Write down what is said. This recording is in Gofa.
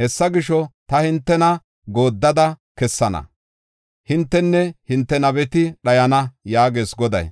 Hessa gisho, ta hintena gooddada kessana; hintenne hinte nabeti dhayana” yaagees Goday.